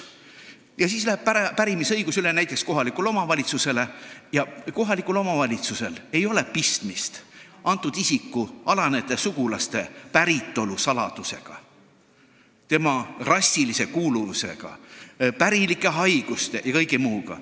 Ja siis läheb pärimisõigus üle näiteks kohalikule omavalitsusele, kellel ei ole mingit pistmist kõnealuse isiku alanejate sugulaste päritolu saladustega, tema rassilise kuuluvuse, pärilike haiguste ja kõige muuga.